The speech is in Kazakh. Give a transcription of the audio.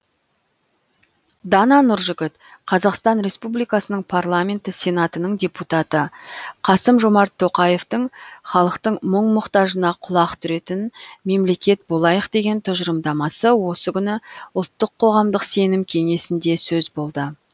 дана нұржігіт қазақстан республикасының парламенті сенатының депутаты қасым жомарт тоқаевтың халықтың мұң мұқтажына құлақ түретін мемлекет болайық деген тұжырымдамасы осы күні ұлттық қоғамдық сенім кеңесінде сөз болды